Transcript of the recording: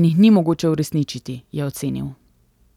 in jih ni mogoče uresničiti, je ocenil.